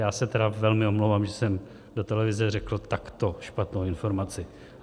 Já se tedy velmi omlouvám, že jsem do televize řekl takto špatnou informaci.